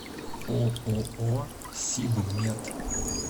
ооо сибмет